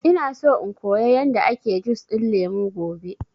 Ina so in koya yanda ake jus ɗin lemu gobe